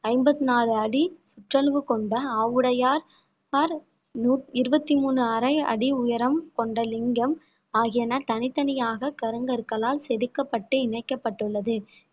ஐம்பத்தி நாலு அடி சுற்றளவு கொண்ட ஆவுடையார் ~யார் இருவத்தி மூணு அரை அடி உயரம் கொண்ட லிங்கம் ஆகியன தனித்தனியாக கருங்கற்களால் செதுக்கப்பட்டு இணைக்கப்பட்டுள்ளது